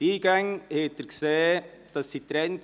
Wie Sie gesehen haben, sind die Eingänge getrennt.